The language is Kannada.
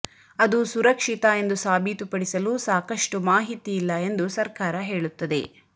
ಅದು ಸುರಕ್ಷಿತ ಎಂದು ಸಾಬೀತುಪಡಿಸಲು ಸಾಕಷ್ಟು ಮಾಹಿತಿ ಇಲ್ಲ ಎಂದು ಸರ್ಕಾರ ಹೇಳುತ್ತದೆ